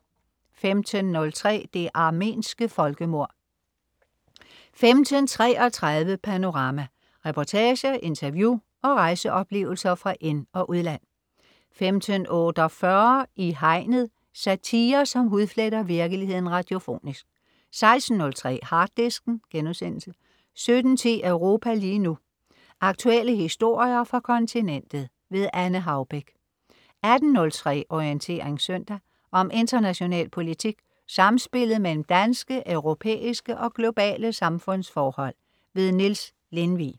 15.03 Det armenske folkemord 15.33 Panorama. Reportager, interview og rejseoplevelser fra ind- og udland 15.48 I Hegnet. Satire, som hudfletter virkeligheden radiofonisk 16.03 Harddisken* 17.10 Europa lige nu. Aktuelle historier fra kontinentet. Anne Haubek 18.03 Orientering søndag. Om international politik, samspillet mellem danske, europæiske og globale samfundsforhold. Niels Lindvig